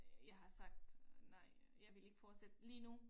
Jeg har sagt nej jeg vil ikke fortsætte lige nu